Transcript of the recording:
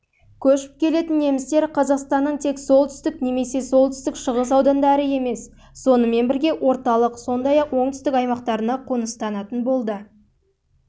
көшіп келетін немістер қазақстанның тек солтүстік немесе солтүстік-шығыс аудандары емес сонымен бірге орталық сондай-ақ оңтүстік